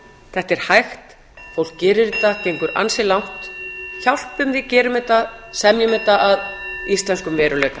þetta er hægt fólk gerir þetta gengur ansi langt hjálpum því semjum þetta að íslenskum veruleika